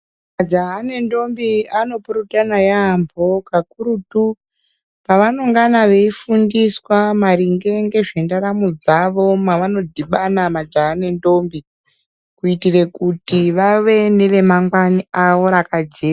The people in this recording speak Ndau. Majaha nendombi anopurutana yaampho kakurutu, pavanongana veifundiswa maringe ngezvendaramo dzavo mwavanodhibana majaya nendombi, kuitire kuti vave neremangwani avo rakajeka.